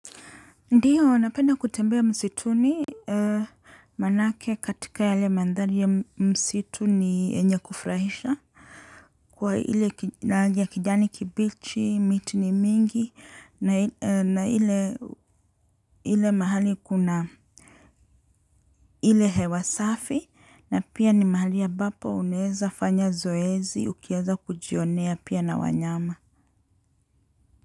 Ndiyo, napenda kutembea msituni, maanake katika yale mandhari ya msitu ni yenye kufurahisha, kwa ile kijani kibichi, miti ni mingi, na ile mahali kuna, ile hewa safi, na pia ni mahali ya ambapo unaeza fanya zoezi, ukianza kujionea pia na wanyama.